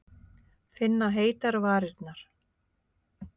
Finna heitar varirnar.